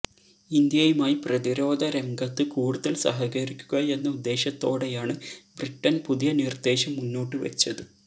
ഇന്ത്യയുമായി പ്രതിരോധ രംഗത്ത് കൂടുതല് സഹകരിക്കുക എന്ന ഉദ്ദേശത്തോടെയാണ് ബ്രിട്ടന് പുതിയ നിര്ദ്ദേശം മുന്നോട്ടുവെച്ചത്